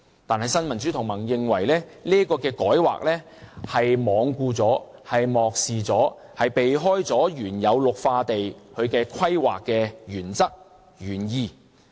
但是，新民主同盟認為這個改劃罔顧、漠視和避開了原有綠化地規劃的原則和原意。